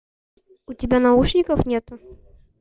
у тебя наушников нет